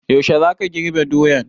Yaushe za ka girbe doyan?